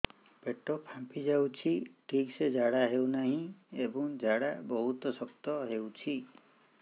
ପେଟ ଫାମ୍ପି ଯାଉଛି ଠିକ ସେ ଝାଡା ହେଉନାହିଁ ଏବଂ ଝାଡା ବହୁତ ଶକ୍ତ ହେଉଛି